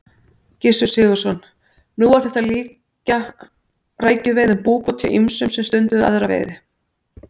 Gissur Sigurðsson: Nú var þetta líkja rækjuveiðum búbót hjá ýmsum sem stunduðu aðra veiði?